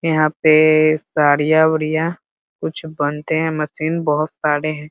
यहां पे साड़ियां-उड़िया कुछ बनते हैं मशीन बहोत सारे हे।